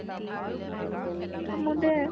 তই মোক দে।